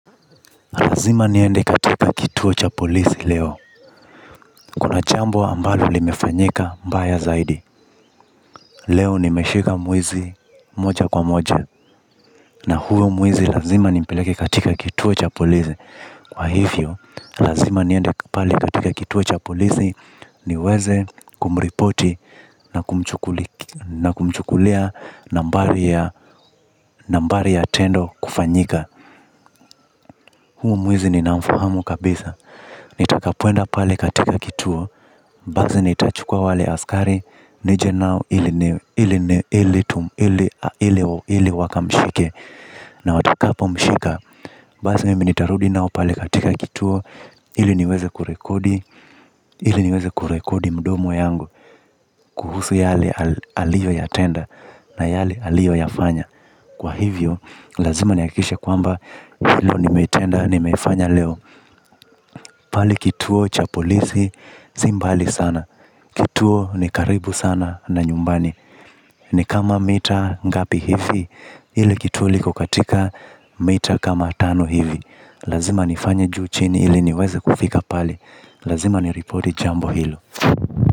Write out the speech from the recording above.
Lazima niende katika kituo cha polisi leo. Kuna jambo ambalo li mefanyika mbaya zaidi. Leo ni meshika mwizi moja kwa moja. Na huyo mwizi lazima ni mpeleke katika kituo cha polisi. Kwa hivyo, lazima niende pale katika kituo cha polisi ni weze kumripoti na kumchukulia nambari ya tendo kufanyika. Huyu mwizi ni nafahamu kabisa. Nitakapoenda pale katika kituo basi nitachukua wale askari. Nije nao ili wakamshike. Na watakapo mshika basi mimi nitarudi nao pale katika kituo. Ili niweze kurekodi. Ili niweze kurekodi mdomo yangu. Kuhusu yale aliyo ya tenda na yale aliyo ya fanya kwa hivyo, lazima nihakikisha kwamba hilo ni metenda ni mefanya leo. Pale kituo cha polisi simbali sana. Kituo ni karibu sana na nyumbani nikama mita ngapi hivi. Ile kituo liko katika meta kama tano hivi. Lazima nifanye juu chini. Ile niweze kufika pale. Lazima niripoti jambo hilo.